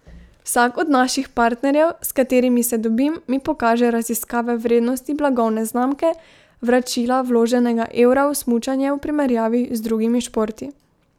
Vsak od naših partnerjev, s katerimi se dobim, mi pokaže raziskave vrednosti blagovne znamke, vračila vloženega evra v smučanje v primerjavi z drugimi športi.